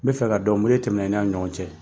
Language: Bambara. N bɛ fɛ ka dɔn mun le tɛmɛ na i n'a ni ɲɔgɔn cɛ?